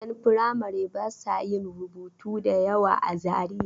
Ƴan firamare ba sa yin rubutu da yawa a Zariya.